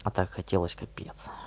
а так хотелось капец